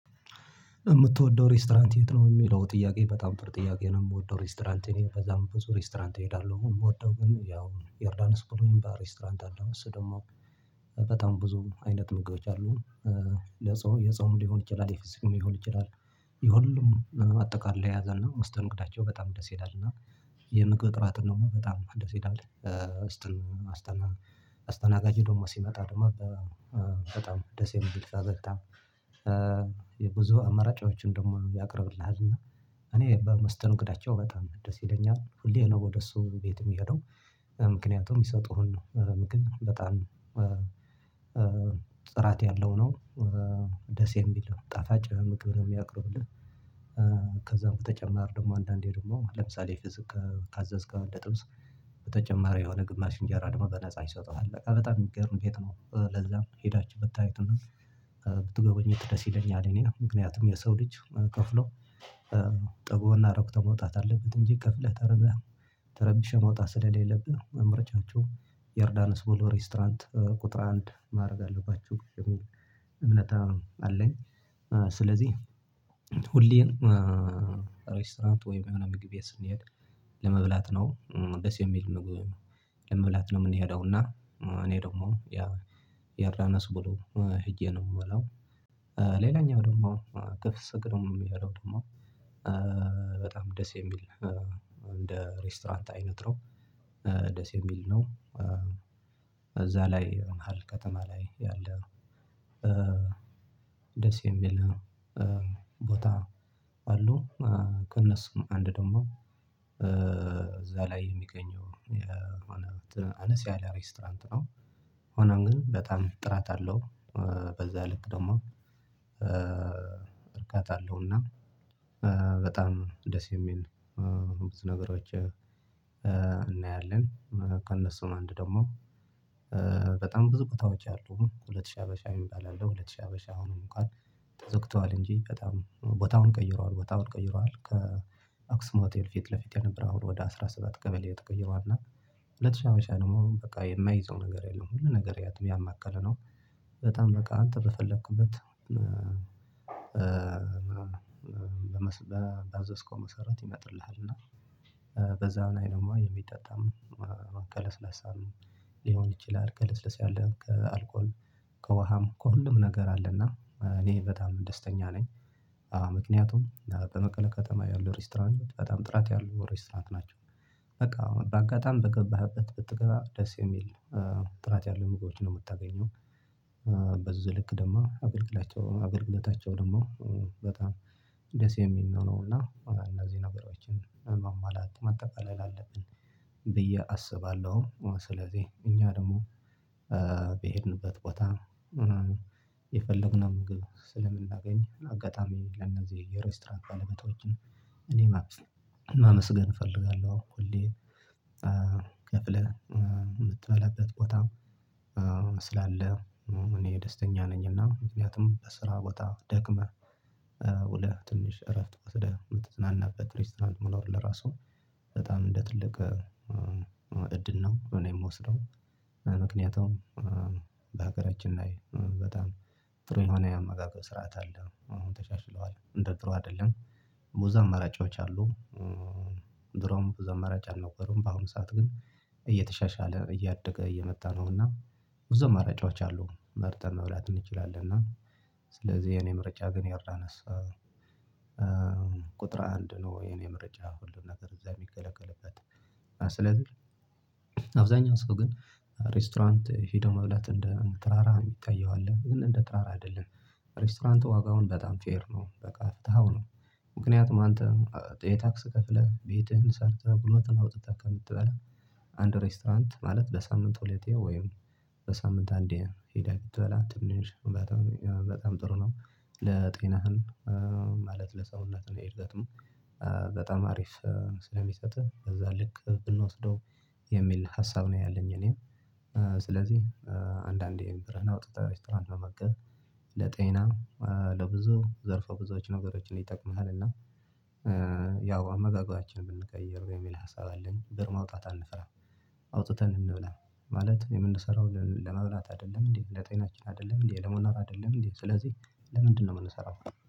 የምትወደው ሬስቶራንት የት? ነው የሚለው ጥያቄ በጣም ጥሩ ጥያቄ ነው የምወደው ሬስቶራንት እኔ ከዛም ብዙ ሬስቶራንት እሄዳለሁ አሁን የምወደው ግን ያው የዮርዳና ስፖርት ሬስቶራንት አለው እሱ ደግሞ በጣም ብዙም አይነት ምግቦች አሉ። ለጾም የጾም ሊሆን ይችላል የፍስግ ሊሆን ይችላል። የሁሉም አጠቃላይ የያዘ ውስጥ እንግዳቸው በጣም ደስ ይላል እና የምግብ ጥራት እንደሆነ በጣም ደስ ይላል። ውስጥን አስተናጋጅ ደግሞ ሲመጣ ደግሞ በጣም ደስ የሚል ፈገግታ የብዙ አመራጫዎችን ደግሞ ያቀርብልሃል። እና እኔ በመስተንግዶአቸው በጣም ደስ ይለኛል ሁሌ ነው ወደ እሱ ቤት የሚሄደው ምክንያቱም ይሰጡህን ነው ምግብ በጣም ጥራት ያለው ነው ደስ የሚል ጣፋጭ ምግብ ነው የሚያቀርቡልህ። ከዛ በተጨማሪ ደግሞ አንዳንዴ ደግሞ ለምሳሌ ፍዝ ካዘዝከው ለጥብስ በተጨማሪ የሆነ ግማሽ እንጀራ ደግሞ በነፃ ይሰጠዋል በጣም የሚገርም ቤት ነው። ለዛም ሄዳችሁ ብታዩትና ብትጎበት ደስ ይለኛል እኔ ምክንያቱም የሰው ልጅ ከፍሎ ጠቦና ረኩት መውጣት አለበት። እንጂ ከፍለህ ተረበህ ተረብሸህ መውጣት ስለሌብህ መምረጫችሁ ዮርዳኖስ ቦሎ ሬስቶራንት ቁጥር አንድ ማድረግ አለባችሁ የሚል አለኝ። ስለዚህ ሁሌም ሬስቶራንት ወይም ምግብ ቤት ስንሄድ ለመብላት ነው ደስ የሚል ምግብ ለመብላት ነው የምንሄደው እና እኔ ደግሞ ያ ያላነስኩሉ ሄጄ ነው የምውለው። ሌላኛው ደግሞ ክፍስ እግርም ያለው ደግሞ በጣም ደስ የሚል እንደ ሬስቶራንት አይነት ነው። ደስ የሚል ነው እዛ ላይ መሃል ከተማ ላይ ያለ ደስ የሚል ቦታ አሉ ከእነሱ አንድ ደግሞ እዛ ላይ የሚገኘው የሆነ አነስ ያለ ሬስቶራንት ነው። ሆኖም ግን በጣም ጥራት አለው በዛ ልክ ደግሞ እርካታለሁ። እና በጣም ደስ የሚል ነው ብዙ ነገሮች እናያለን ከእነሱ አንድ ደግሞ በጣም ብዙ ቦታዎች አሉ ሁለት ሺህ ሀበሻ እባላለሁ ሁለት ሺህ ሀበሻ አሁንም እንኳን ተዘግቷል እንጂ በጣም ቦታውን ቀይረዋል ቦታውን ቀይረዋል ከአክስሞቴል ፊት ለፊት የነበረ አሁን ወደ አስራ ሰባት ቀበሌ ተቀይሯል። እና ሁለት ሺህ ሃያ ሺህ ደግሞ በቃ የማይዘው ነገር የለም ሁሉ ነገር ያማከለ ነው። በጣም በቃ አንተ በፈለኩበት በመዘዝከው መሰረት ይመጥልሃል እና በዛው አይነት የሚጠጣም ቀለስለሳ ሊሆን ይችላል ቀለስለሳ ያለህም ከአልኮል ከውሃም ከሁሉም ነገር አለና እኔ በጣም ደስተኛ ነኝ። ምክንያቱም በመቀሌ ከተማ ያለው ሬስቶራንት በጣም ጥራት ያሉ ሬስቶራንት ናቸው። በቃ አሁን በአጋጣሚ በገባህበት ብትገራ ደስ የሚል ጥራት ያሉ ምግቦች ነው የምታገኘው። በዝልክ ደግሞ አገልግላቸው አገልግለታቸው ደግሞ በጣም ደስ የሚል ነው እና እና እዚህ ነገሮችን ማማላት ማጠቃለል አለብን ብዬ አስባለሁ ስለዚህ እኛ ደግሞ በሄድንበት ቦታ የፈለግነው ምግብ ስለምናገኝገኝ አጋጣሚ ለነዚህ ሬስቶራንት ባለመቶችን እኔ ማመስገን እፈልጋለሁ። እኮ እንዴ ከፍለህ የምትበላበት ቦታ ስላለ እኔ ደስተኛ ነኝ እና ምክንያቱም በስራ ቦታ ደግመህ ውለህ ትንሽ እረፍት ወስደህ የምትዝናናበት ሬስቶራንት መኖር ለራሱ በጣም እንደ ትልቅ እድል ነው። እኔ የምወስደው ምክንያቱም በሀገራችን ላይ በጣም ጥሩ የሆነ የአመጋገብ ስርዓት አለ አሁን ተሻሽለዋል እንደ ጥሩ አይደለም። ቦዛ መረጃዎች አሉ ብዙ መረጃ አልነበረም በአሁኑ ሰዓት ግን እየተሻሻለ እያደገ እየመጣ ነውና ብዙ መረጃዎች አሉ መርጠን መብላት እንችላለን። እና ስለዚህ የኔ ምርጫ ግን ዮርዳኖስ ቁጥር አንድ ነው። የኔ ምርጫ ሁሉን ነገር እዛ የሚገለገልበት ስለዚህ አብዛኛው ሰው ግን ሬስቶራንት ሄዶ መብላት እንደ ተራራ የሚታየው አለ ግን እንደ ተራራ አይደለም ሬስቶራንቱ ዋጋውን በጣም ፌር ነው። በቃ ፍትሃው ነው ምክንያቱም አንተ የታክስ ከፍለህ ቤትህን ሰርተህ ጉልበትህን አውጥተህ ከምትበላ አንድ ሬስቶራንት ማለት በሳምንት ሁለቴ ወይም በሳምንት አንዴ ሄደህ ብትበላ ትንሽ በጣም ጥሩ ነው። ለጤናህን ማለት ለሰውነት ነው የሄደት በጣም አሪፍ ስለሚሰጥህ በዛ ልክ ብንወስደው ሀሳብ ነው ያለኝ እኔ ስለዚህ አንዳንዴ ብርህን አውጥተህ ሬስቶራንት መመገብ ለጤና ለብዙ ዘርፋ ብዙዎች ነገሮችን ይጠቅምሃል። እና ያው አመጋገባችንን ብንቀይረው የሚል ሀሳብ አለን ብር ማውጣት አንፈራም። አውጥተን እንብላ ማለት የምንሰራው ለመብላት አይደለም እንዴ ለጤናችን አይደለም እንዴ ለመኖር አይደለም እንዴ? ስለዚህ ለምንድነው የምንሰራው?